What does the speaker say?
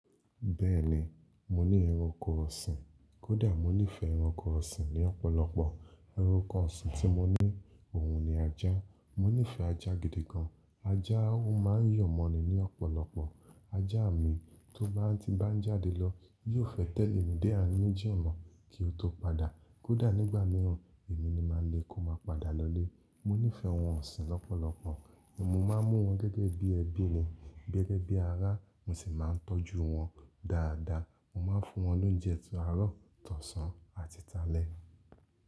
Bẹ́ẹ̀ni, mo ní ẹranko ọ̀sìn. Kódà mo nífẹ̀ẹ́ ẹranko ọ̀sìn ní ọ̀pọ̀lọpọ̀. Ẹranko ọ̀sìn tí mo ní òun ni ajá. Mo nífẹ̀ẹ́ ajá gidi gan. Ajá ó máa ń yọ̀ mọ́ mi ní ọ̀pọ̀lọpọ̀. Ajá mi tó bá ti n bá ń jáde lọ yóò fẹ́ tẹ̀lé mi dé àárín méjì ọ̀nà kí ó tó padà. Kódà nígbà mìíràn èmi ni máa lé kó máa padà lọlé. Mo nífẹ̀ẹ́ ohun ọ̀sìn lọ́pọ̀lọpọ̀, mo máa ń mú wọn gẹ́gẹ́ bí ẹbí mi, gẹ́gẹ́ bí ará, mo sì máa ń tọ́jú wọn dáadáa. Mo máa ń fún wọn lóúnjẹ ti árọ̀, tọ̀sán, àti tálẹ́.